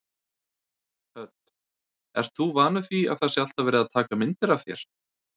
Hödd: Ert þú vanur því að það sé alltaf verið að taka myndir af þér?